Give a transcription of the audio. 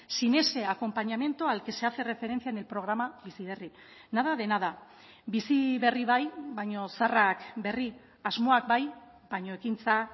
sin ese acompañamiento al que se hace referencia en el programa bizi berri nada de nada bizi berri bai baina zaharrak berri asmoak bai baino ekintza